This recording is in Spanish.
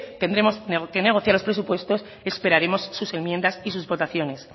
tendremos que negociar los presupuestos esperaremos sus enmiendas y sus votaciones